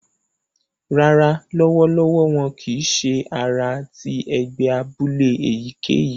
Rárá, lọwọlọwọ wọn kìí ṣe àrà ti ẹgbẹ abúlé èyíkéyìí